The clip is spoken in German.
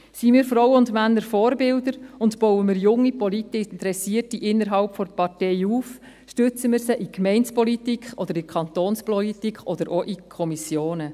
Seien wir Frauen und Männer Vorbilder und bauen wir junge politische Interessierte innerhalb der Partei auf, stützen wir sie in der Gemeinde- oder in der Kantonspolitik oder auch in Kommissionen.